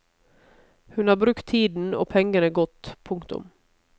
Hun har brukt tiden og pengene godt. punktum